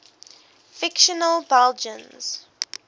fictional belgians